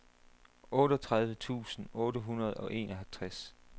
otteogtredive tusind otte hundrede og enoghalvtreds